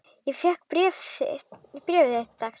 Ég fékk bréf þitt dags.